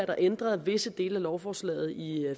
at ændre visse dele af lovforslaget i